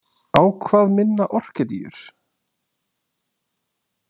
Á hvað minna orkídeur?